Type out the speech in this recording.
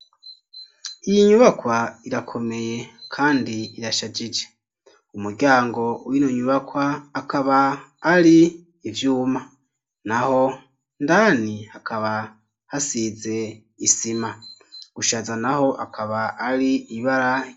Iyi nyubakwa irakomeye kandi irashajije umuryango wino nyubakwa akaba ari ivyuma naho indani akaba hasize isima, gushaza naho akaba ari ibara.